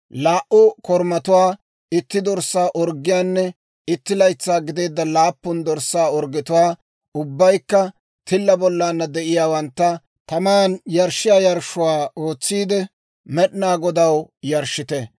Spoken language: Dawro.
Laa"u korumatuwaa, itti dorssaa orggiyaanne itti laytsaa gideedda laappun dorssaa orggetuwaa, ubbaykka tilla bollana de'iyaawantta, taman yarshshiyaa yarshshuwaa ootsiide, Med'inaa Godaw yarshshite.